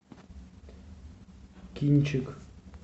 кинчик